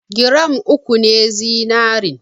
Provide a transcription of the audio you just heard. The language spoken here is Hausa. Gram uku ne zinarin.